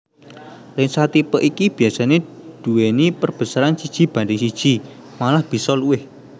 Lensa tipe iki biasané duwéni perbesaran siji banding siji malah bisa luwih